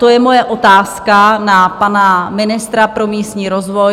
To je moje otázka na pana ministra pro místní rozvoj.